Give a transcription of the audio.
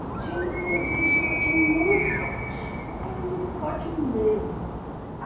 E tinha uma turma de vigilante muito forte, muito forte mesmo.